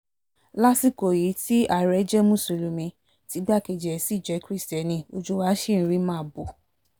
lásìkò yìí tí àárẹ̀ jẹ́ mùsùlùmí tí igbákejì ẹ̀ sì jẹ́ kiristẹni ojú wa ṣì ń rí màbo